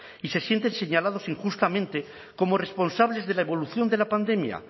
y se sienten señalados injustamente como responsables de la evolución de la pandemia